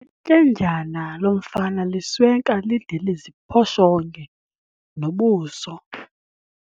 Ityendyana lomfana liswenka lide liziphoshonge nobuso.